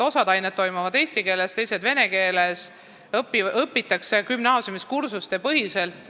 Osa aineid õpitakse eesti keeles, teine osa vene keeles ja gümnaasiumis õpitakse kursustepõhiselt.